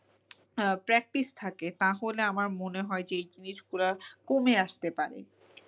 আহ practice থাকে তাহলে আমার মনে হয় যে এই জিনিস গুলো কমে আসতে পারে।